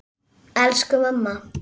Elsku mamma!